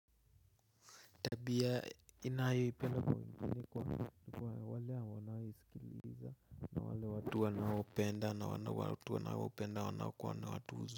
Tabia ninayoipenda kwa wengine ni kwa wale wanaoisikiliza na wale watu wanaopenda na watu wanaopenda wanaokuwa na watu.